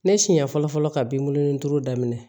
Ne siɲɛ fɔlɔ fɔlɔ ka binkɔnin turu daminɛ